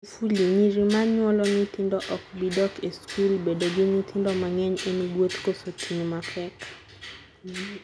Magufuli: Nyiri ma nyuolo nyithindo ok bi dok e skul Bedo gi nyithindo mang'eny en gweth koso ting' mapek?